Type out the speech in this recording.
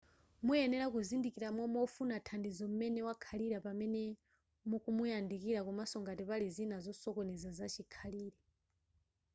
muyenera kuzindikira momwe wofuna thandizo m'mene wakhalira pamene mukumuyandikira komaso ngati pali zina zosokoneza zachikhalire